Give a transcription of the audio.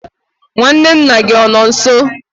nwanne nna gị ọ nọ nso?